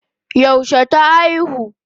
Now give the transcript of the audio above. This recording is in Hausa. Yaushe ta aihu?